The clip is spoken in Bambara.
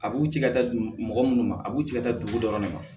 A b'u ci ka taa mɔgɔ minnu ma a b'u cɛ ka taa dugu dɔrɔn de la